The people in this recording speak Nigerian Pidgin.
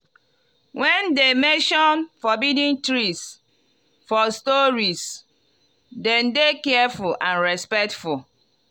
when dem mention forbidden trees for stories dem dey careful and respectful.